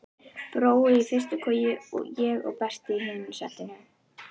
Brói í fyrstu koju, ég og Berti í hinu settinu.